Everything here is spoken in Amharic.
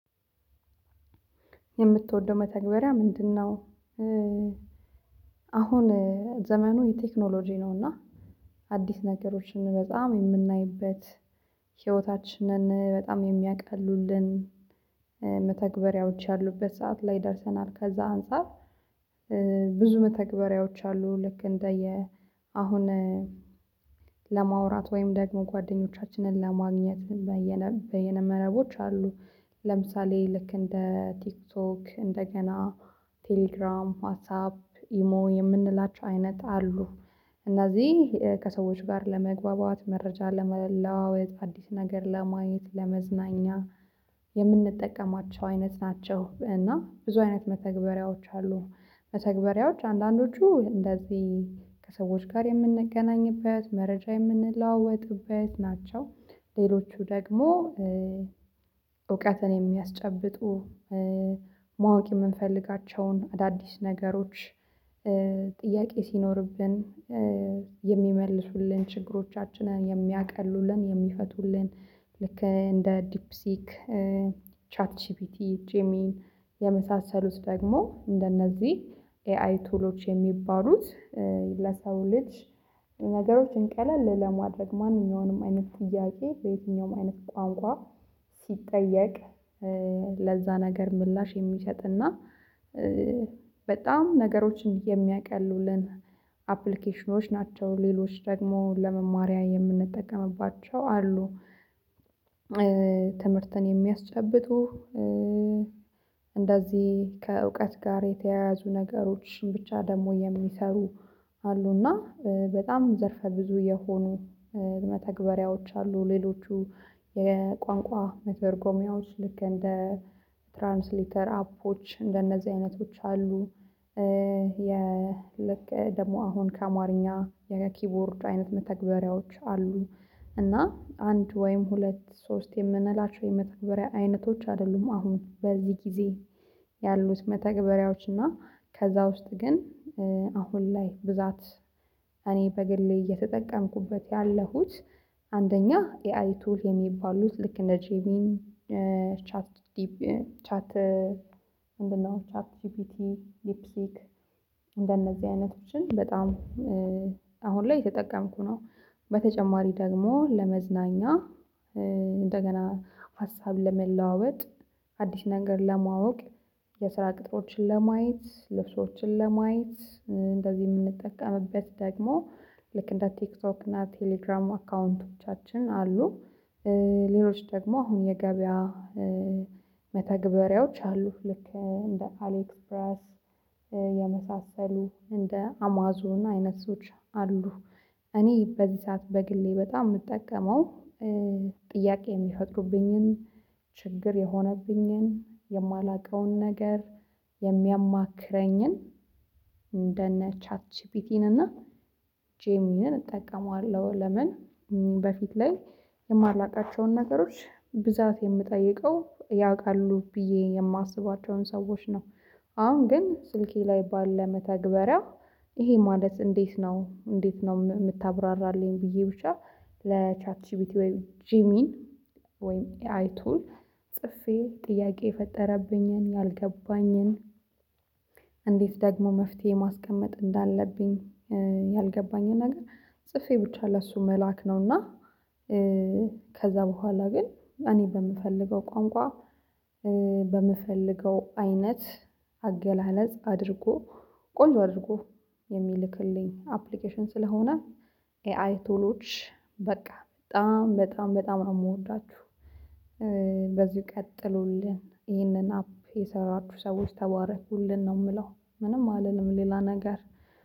የምትወደው መተግበሪያ ምንድነው አሁን ዘመኑ የቴክኖሎጂ ነው እና አዲስ ነገሮችን በጣም የምናይበት ህይወታችንን በጣም የሚያቅሉልን መተግበሪያዎች ያሉበት ሰዓት ላይ ደርሰናል ከዛ አንፃር ብዙ መተግበሪያዎች አሉ ልክ እንደ አሁን ለማውራት ወይም ደግሞ ጓደኞቻችንን ለማግኘት በየነ በየነ መረቦች አሉ ለምሳሌ ልክ እንደ ቲክቶክ እንደገና ቴሌግራም ዋትሳፕ ኢሞ የምንላቸው አይነት አሉ። እነዚህ ከሰዎች ጋር ለመግባባት መረጃ ለመለዋወጥ አዲስ ነገር ለማየት ለመዝናኛ የምንጠቀማቸው አይነት ናቸው እና ብዙ አይነት መተግበሪያዎች አሉ መተግባሪያዎች አንዳንዶቹ እንደዚህ ከሰዎች ጋር የምንገናኝበት መረጃ የምንለዋወጥበት ናቸው። ሌሎቹ ደግሞ እውቀትን የሚያስጨብጡ ማወቅ የምንፈልጋቸውን አዳዲስ ነገሮች ጥያቄ ሲኖርብን የሚመልሱልን ችግሮቻችንን የሚያቀሉልን የሚፈቱልን ልክ እንደ ዲፕሲክ ቻት ጂፒቲ ጄሚን የመሳሰሉት ደግሞ እንደነዚህ ኤአይ ቱሎች የሚባሉት ለሰው ልጅ ነገሮችን ቀለል ለማድረግ ማንም ማንኛውንም አይነት ጥያቄ በየትኛውም አይነት ቋንቋ ሲጠየቅ ለዛ ነገር ምላሽ የሚሸጥ እና በጣም ነገሮችን የሚያቀሉልን አፕሊኬሽኖች ናቸው ሌሎች ደግሞ ለመማሪያ የምንጠቀምባቸው አሉ ትምህርትን የሚያስጨብጡ እንደዚህ ከእውቀት ጋር የተያያዙ ነገሮችን ብቻ ደግሞ የሚሰሩ አሉና በጣም ዘርፈ ብዙ የሆኑ መተግበሪያዎች አሉ ሌሎቹ የቋንቋ መተርጎሚያዎች ልክ እንደ ትራንስሊተር አፖች እንደነዚህ አይነቶች አሉ የ ልክ ደግሞ አሁን ከአማርኛ የኪቦርድ አይነት መተግበሪያዎች አሉ እና አንድ ወይም ሁለት ሶስት የምንላቸው የመተግበሪያ አይነቶች አይደሉም አሁን በዚህ ጊዜ ያሉት መተግበሪያዎች እና ከዛ ውስጥ ግን አሁን ላይ ብዛት እኔ በግሌ እየተጠቀምኩበት ያለሁት አንደኛ ኤአይ ቱል የሚባሉት ልክ እንደ ጄሚን ቻት ጂፒቲ ምንድንነው ቻት ጂፒቲ ሊፒሲክ እንደነዚህ አይነቶችን በጣም አሁን ላይ የተጠቀምኩ ነው። በተጨማሪ ደግሞ ለመዝናኛ እንደገና ሀሳብን ለመለዋወጥ አዲስ ነገር ለማወቅ የስራ ቅጥሮችን ለማየት ልብሶችን ለማየት እንደዚህ የምንጠቀምበት ደግሞ ልክ እንደ ቲክቶክ እና ቴሌግራም አካውንቶቻችን አሉ ሌሎች ደግሞ አሁን የገበያ መተግበሪያዎች አሉ። ልክ እንደ አሌክ ፕረስ የመሳሰሉ እንደ አማዞን አይነት ሰዎች አሉ እኔ በዚህ ሰዓት በግሌ በጣም የምጠቀመው ጥያቄ የሚፈጥሩብኝን ችግር የሆነብኝን የማላውቀውን ነገር የሚያማክረኝን እንደነ ቻት ጂፒቲን እና ጄሚን እጠቀመዋለሁ ለምን በፊት ላይ የማላውቃቸውን ነገሮች ብዛት የምጠይቀው ያውቃሉ ብዬ የማስባቸውን ሰዎች ነው አሁን ግን ስልኬ ላይ ባለ መተግበሪያ ይሄ ማለት እንዴት ነው እንዴት ነው የምታብራራልኝ ብዬ ብቻ ለቻት ጂፒቲ ወይ ጂሚን ወይም ኤአይ ቱል ጽፌ ጥያቄ የፈጠረብኝን ያልገባኝን እንዴት ደግሞ መፍትሄ ማስቀመጥ እንዳለብኝ ያልገባኝን ነገር ጽፌ ብቻ ለእሱ መላክ ነው እና ከዛ በኋላ ግን እኔ በምፈልገው ቋንቋ በምፈልገው አይነት አገላለጽ አድርጎ ቆንጆ አድርጎ የሚልክልኝ አፕሊኬሽን ስለሆነ ኤአይ ቶሎች በቃ በጣም በጣም በጣም ነው የምወዳችሁ በዚህ ቀጥሎልን ይህንን አፕ የሰራችሁ ሰዎች ተባረክቡልን ነው የምለው ምንም አልልም ሌላ ነገር